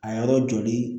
A yɔrɔ joli